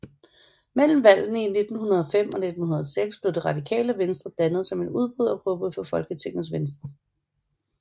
Mellem valgene i 1905 og 1906 blev Det Radikale Venstre dannet som en udbrydergruppe fra Folketingets Venstre